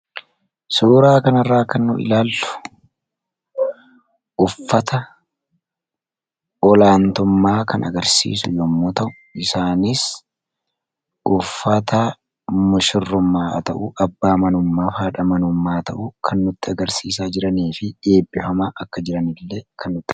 Suuraa kanarraa kan nuti ilaallu suuraa uffata olaantummaa yoo ta’u, isaanis uffata mushurrummaa ta'uu, abbaa manaa fi haadha manaa ta'uu kan nutti agarsiisaa jiruu fi eebbifamaa akka jiran illee kan nutti agarsiisudha.